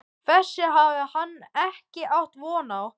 Þessu hafði hann ekki átt von á.